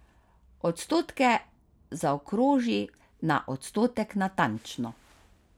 Odstotke zaokroži na odstotek natančno.